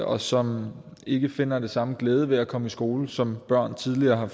og som ikke finder den samme glæde ved at komme i skole som børn tidligere har